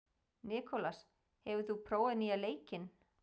Nikolas, hefur þú prófað nýja leikinn?